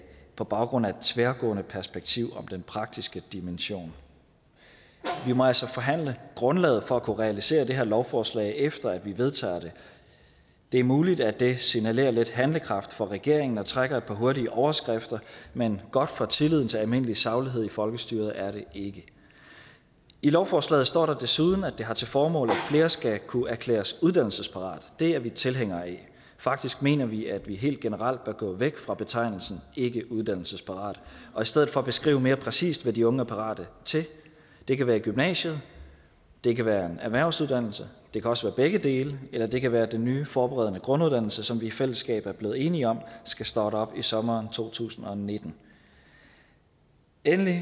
på baggrund af et tværgående perspektiv om den praktiske dimension vi må altså forhandle grundlaget for at kunne realisere det her lovforslag efter at vi vedtager det det er muligt at det signalerer lidt handlekraft fra regeringen og trækker et par hurtige overskrifter men godt for tilliden til almindelig saglighed i folkestyret er det ikke i lovforslaget står der desuden at det har til formål at flere skal kunne erklæres uddannelsesparate det er vi tilhængere af faktisk mener vi at vi helt generelt bør gå væk fra betegnelsen ikke uddannelsesparat og i stedet for beskrive mere præcist hvad de unge er parate til det kan være gymnasiet det kan være en erhvervsuddannelse det kan også begge dele eller det kan være den nye forberedende grunduddannelse som vi i fællesskab er blevet enige om skal starte op i sommeren to tusind og nitten endelig